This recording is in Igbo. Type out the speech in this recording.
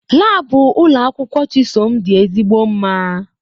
Laabu ụlọ akwụkwọ Chisom dị ezigbo mma